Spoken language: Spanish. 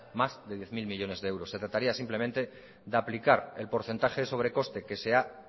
más de diez mil millónes de euros se trataría simplemente de aplicar el porcentaje de sobrecoste que se ha